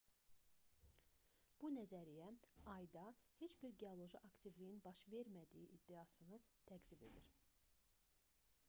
bu nəzəriyyə ayda heç bir geoloji aktivliyin baş vermədiyi iddiasını təkzib edir